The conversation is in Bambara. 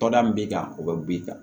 Tɔnda min b'i kan o bɛ b'i kan